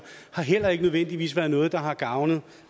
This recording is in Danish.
har heller ikke nødvendigvis været noget der har gavnet